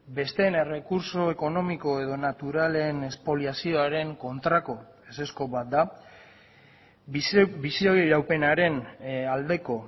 besteen errekurtso ekonomiko edo naturalen espoliazioaren kontrako ezezko bat da bizi iraupenaren aldeko